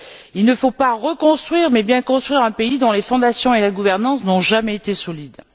Il ne faut pas reconstruire mais bien construire un pays dont les fondations et la gouvernance n'ont jamais été solides.